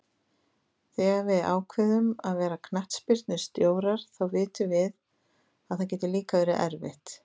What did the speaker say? Þegar við ákveðum að verða knattspyrnustjórar þá vitum við að það getur líka verið erfitt.